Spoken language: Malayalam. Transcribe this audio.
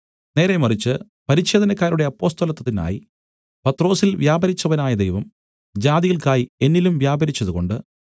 നേരേമറിച്ച് പരിച്ഛേദനക്കാരുടെ അപ്പൊസ്തലത്വത്തിനായി പത്രൊസിൽ വ്യാപരിച്ചവനായ ദൈവം ജാതികൾക്കായി എന്നിലും വ്യാപരിച്ചതുകൊണ്ട്